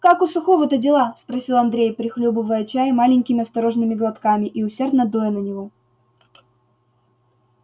как у сухого-то дела спросил андрей прихлёбывая чай маленькими осторожными глотками и усердно дуя на него